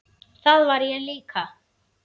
Það er ég líka